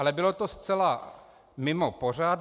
Ale bylo to zcela mimo pořad.